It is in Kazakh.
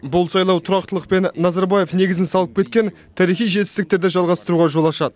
бұл сайлау тұрақтылық пен назарбаев негізін салып кеткен тарихи жетістіктерді жалғастыруға жол ашады